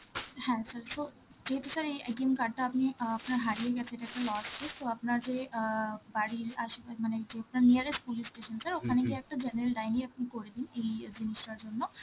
হ্যাঁ sir, so~ যেহেতু sir এই card টা আপনি~ অ্যাঁ আপনার হারিয়ে গেছে, so আপনাকে অ্যাঁ বাড়ির আসে পাশে, মানে যেটা nearest police station sir, ওখানে গিয়ে একটা general diary আপনি করে দিন এই জিনিসটার জন্য.